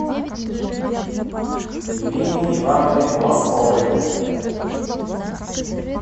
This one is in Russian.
ирине ивановне глазковой